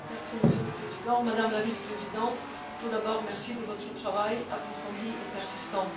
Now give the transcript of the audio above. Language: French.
Monsieur le Président, Madame la Vice présidente, tout d'abord, merci pour votre travail approfondi et persistant.